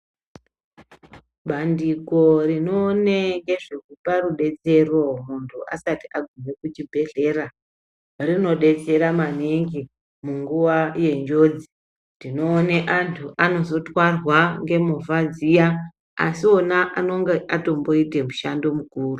Bandiko rinoone ngezvekupe rubetsero munthu asti aguma kuchibhedhlera rinodetsera maningi munguwa yenjodzi ndinoona vanthu vanozotwara ngemovha dziya asi iwona anonga atomboita mishando mukuru.